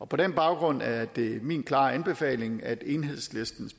på den baggrund er det min klare anbefaling at enhedslistens